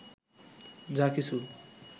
যা কিছু